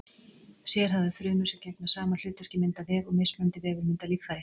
Sérhæfðar frumur sem gegna sama hlutverki mynda vef og mismunandi vefir mynda líffæri.